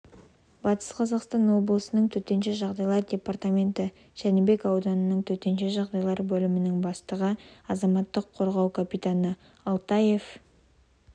батыс қазақстан облысының төтенше жағдайлар департаменті жәнібек ауданының төтенше жағдайлар бөлімінің бастығы азаматтық қорғау капитаны алтаев